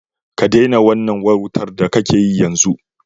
Ka daina wannan wautar da kake yi, yanzu!